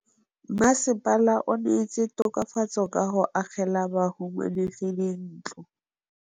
Mmasepala o neetse tokafatsô ka go agela bahumanegi dintlo.